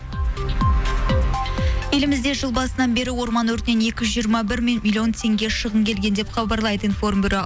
елімізде жыл басынан бері орман өртінен екі жүз жиырма бір миллион теңге шығын келген деп хабарлайды информбюро